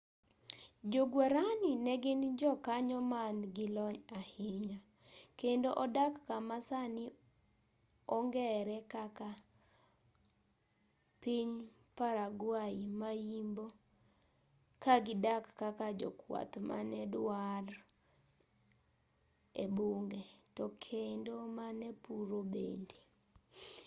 jo guarani ne gin jo kanyo man gi lony ahinya kendo odak kama sani ong'ere kaka piny paraguay ma-yimbo ka gidak kaka jokwath mane dwar ebunge to kendo mane puro bende